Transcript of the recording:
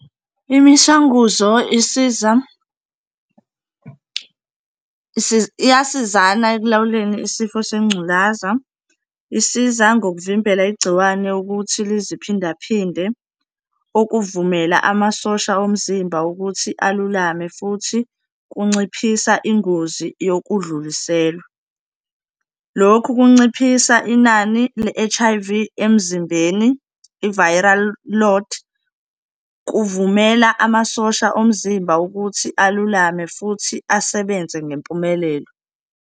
Imishanguzo isiza iyasizana ekulawuleni isifo sengculaza, isiza ngokuvimbela igciwane ukuthi liziphindaphinde, okuvumela amasosha omzimba ukuthi alulame futhi kunciphisa ingozi yokudluliselwa. Lokhu kunciphisa inani le-H_I_V emzimbeni, ivayirali load, kuvumela amasosha omzimba ukuthi alulame futhi asebenze ngempumelelo.